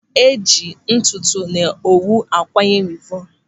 Eji ntụtụ na owu akwanye wivọnu.